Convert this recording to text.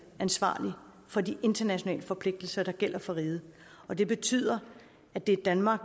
ansvarlig for de internationale forpligtelser der gælder for riget og det betyder at det er danmark